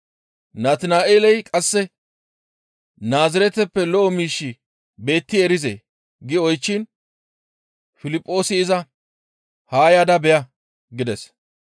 Natina7eeley qasse, «Naazireteppe lo7o miishshi beetti erizee?» gi oychchiin Piliphoosi iza, «Haa yaada beya» gides.